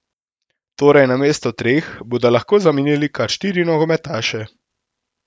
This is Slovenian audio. Torej namesto treh, bodo lahko zamenjali kar štiri nogometaše.